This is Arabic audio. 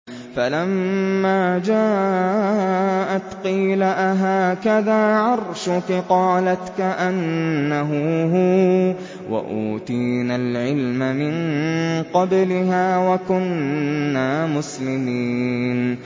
فَلَمَّا جَاءَتْ قِيلَ أَهَٰكَذَا عَرْشُكِ ۖ قَالَتْ كَأَنَّهُ هُوَ ۚ وَأُوتِينَا الْعِلْمَ مِن قَبْلِهَا وَكُنَّا مُسْلِمِينَ